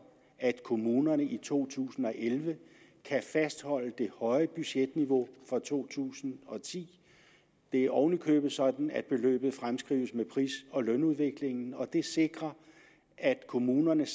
at kommunerne i to tusind og elleve kan fastholde det høje budgetniveau for to tusind og ti det er oven i købet sådan at beløbet fremskrives med pris og lønudviklingen og det sikrer at kommunerne